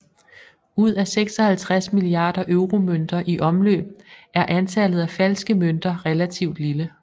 Ud af 56 milliarder euromønter i omløb er antallet af falske mønter relativt lille